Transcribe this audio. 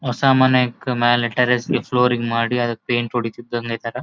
ಅಸಾಮಾನ್ಯ ಒಂದ್ ಫ್ಲೂರಿಂಗ್ ಮಾಡಿ ಅದಕ್ಕೆ ಪೈಂಟ್ ಹೊಡೀತಿದಾನೆ ಈ ತರ .